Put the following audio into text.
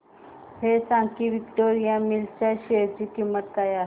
हे सांगा की विक्टोरिया मिल्स च्या शेअर ची किंमत काय आहे